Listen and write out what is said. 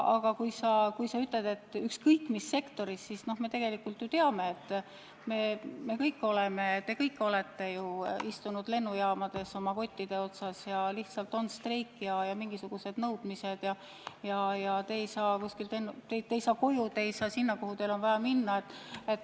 Aga kui sa räägid ükskõik mis sektorist, siis me kõik oleme ju istunud lennujaamades oma kottide otsas, sest lihtsalt on streik, kus esitatakse mingisuguseid nõudmisi, ja te ei saa koju, te ei saa sinna, kuhu teil on vaja minna.